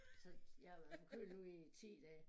Så jeg har været forkølet nu i 10 dage